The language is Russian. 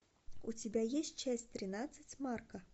у тебя есть часть тринадцать смарка